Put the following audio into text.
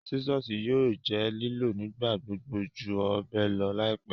Sisọsi yóò jẹ́ liló nigbagbogbo jú ọbẹ lọ laipẹ.